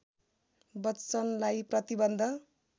बच्‍चनलाई प्रतिबन्ध